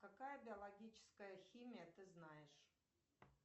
какая биологическая химия ты знаешь